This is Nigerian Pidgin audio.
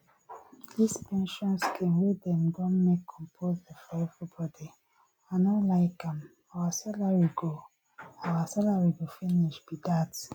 dis pension scheme wey dem don make compulsory for everybody i no like am our salary go our salary go finish be dat